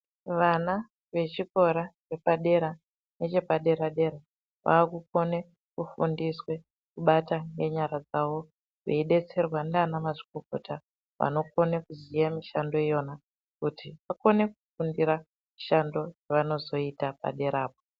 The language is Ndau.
Vana vechikora chepadera nechepadera dera vakugone kufundiswe kugone kubata nenyara dzavo veidetserwa ndaana mazvikokota vagone kuziva mishando iyoyo kuti vagone kufunda mishando yavanozoita paderapo.